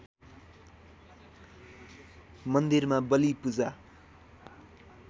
मन्दिरमा बली पूजा